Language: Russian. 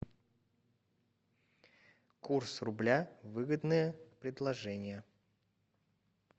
курс рубля выгодное предложение